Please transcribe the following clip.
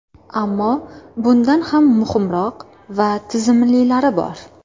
Ammo bundan ham muhimroq va tizimlilari bor.